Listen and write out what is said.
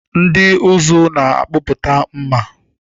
Ndị ụzụ na-akpụpụta mmà.